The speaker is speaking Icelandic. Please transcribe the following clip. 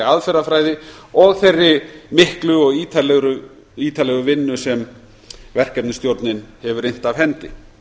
aðferðafræði og þeirri miklu og ítarlegu vinnu sem verkefnisstjórnin hefur innt af hendi